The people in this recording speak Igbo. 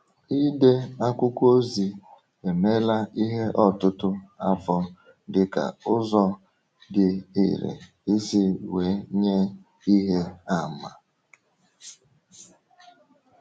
Ide akwụkwọ ozi emeela ihe ọtụtụ afọ dịka ụzọ um dị irè isi um wee nye ihe àmà.